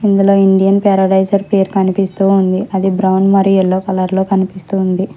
ఇందులో ఇండియన్ పారడైసర్ పేరు కనిపిస్తూ ఉంది అది బ్రౌన్ మరియు ఎల్లో కలర్ లో కనిపిస్తుంది.